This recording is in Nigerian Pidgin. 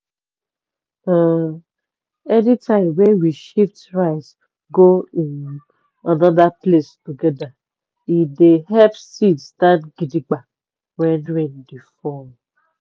um anytime wey we shift rice go um another place together e dey help seed stand gidigba when rain dey fall.